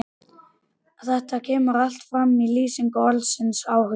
Þetta kemur allt fram í lýsingu orðsins áhugi: